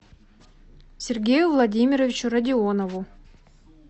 сергею владимировичу родионову